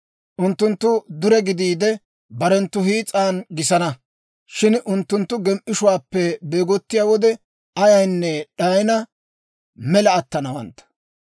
«Unttunttu dure gidiide, barenttu hiis'an gisana; shin unttunttu gem"ishuwaappe beegottiyaa wode, ayaynne d'ayina mela attanawantta.